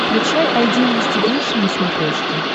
включай айди инвестигейшн на смотрешке